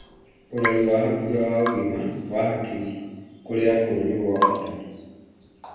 Ũrori wa hakuhĩ wa ũgima wa hakiri kũrĩ akũrũ nĩ gwa bata